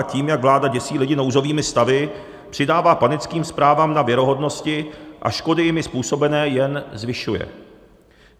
A tím, jak vláda děsí lidi nouzovými stavy, přidává panickým zprávám na věrohodnosti a škody jimi způsobené jen zvyšuje.